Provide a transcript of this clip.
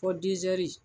Fɔ dɛri